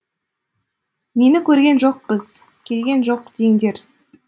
мені көрген жоқпыз келген жоқ деңдер